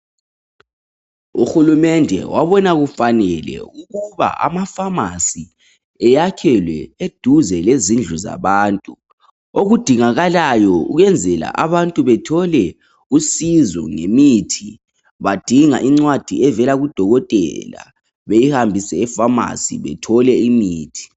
Uhulumende wabona kufanele ukuba amafamasi eyakhelwe eduze lezindlu zabantu. Okudingakalayo ukuyenzela ukuthi abantu bathole usizo ngemithi yincwadi evela kadokotela beyihambise efamasi, bethole imithi.